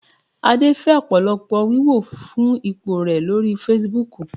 Adé fẹ́ ọ̀pọ̀lọpọ̀ wíwò fún ipò rẹ̀ lórí Fasibúùkù